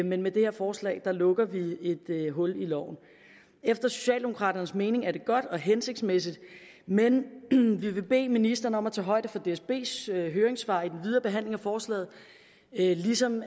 men med det her forslag lukker vi et hul i loven efter socialdemokraternes mening er det godt og hensigtsmæssigt men vi vil bede ministeren om at tage højde for dsbs høringssvar i den videre behandling af forslaget ligesom